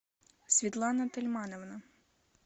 светлана тельмановна